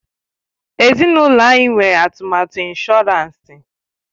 Ezinụlọ anyị nwere atụmatụ ịnshọransị.